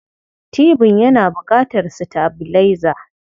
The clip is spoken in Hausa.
Tibin yana buƙatar sitabilaiza.